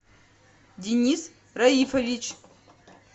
денис раифович